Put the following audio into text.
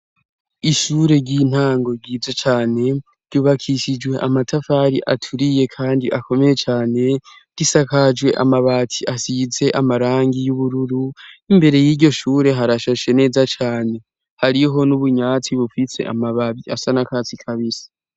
Ishure ry'intango ryiza cane ryubakishijwe amatafari aturiye kandi akomeye cane. Risakajwe amabati asize amarangi y'ubururu. Imbere y'iryo shure, harashashe neza cane, hariho n'utwatsi bufitse amabara asa n'akatsi kabisi.